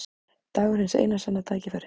Dagur hins eina sanna tækifæris.